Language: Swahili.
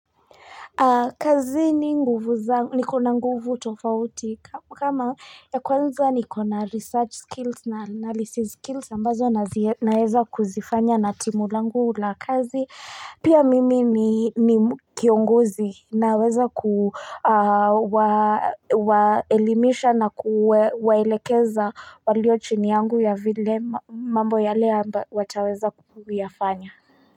Kazini nguvu za nikona nguvu tofauti kama ya kwanza nikona research skills na analysis skills ambazo naweza kuzifanya na timu langu la kazi pia mimi ni kiongozi naweza kuwaelimisha na kuwaelekeza walio chini yangu ya vile mambo yale amba wataweza kuyafanya.